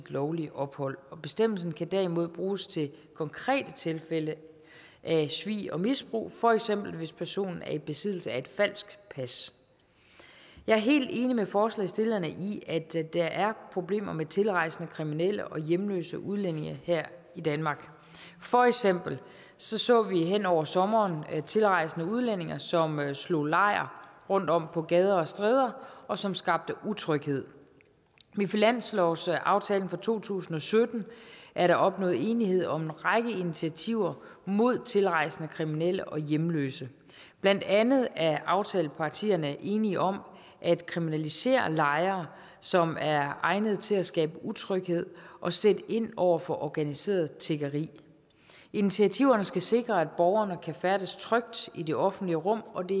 lovlige ophold bestemmelsen kan derimod bruges til konkrete tilfælde af svig og misbrug for eksempel hvis personen er i besiddelse af et falsk pas jeg er helt enig med forslagsstillerne i at der er problemer med tilrejsende kriminelle og hjemløse udlændinge her i danmark for eksempel så så vi hen over sommeren tilrejsende udlændinge som slog lejr rundtom på gader og stræder og som skabte utryghed med finanslovsaftalen for to tusind og sytten er der opnået enighed om en række initiativer mod tilrejsende kriminelle og hjemløse blandt andet er aftalepartierne enige om at kriminalisere lejre som er egnede til at skabe utryghed og sætte ind over for organiseret tiggeri initiativerne skal sikre at borgerne kan færdes trygt i det offentlige rum og det